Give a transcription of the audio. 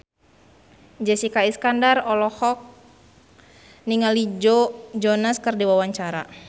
Jessica Iskandar olohok ningali Joe Jonas keur diwawancara